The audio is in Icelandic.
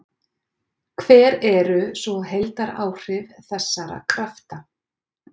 Hver eru svo heildaráhrif þessara krafta?